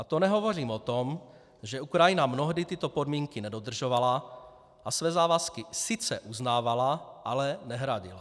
A to nehovořím o tom, že Ukrajina mnohdy tyto podmínky nedodržovala a své závazky sice uznávala, ale nehradila.